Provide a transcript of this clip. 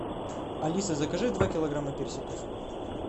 алиса закажи два килограмма персиков